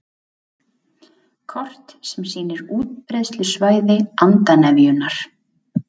Kort sem sýnir útbreiðslusvæði andarnefjunnar